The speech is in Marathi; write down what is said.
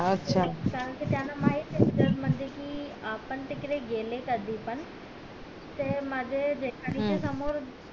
कारण कि त्यांना माहित ये जर म्हणजे कि आपण तिकडे गेले कधी पण तर माझे जेठानी चे समोर